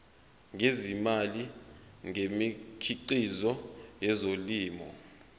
ngezimali ngemikhiqizo yezolimo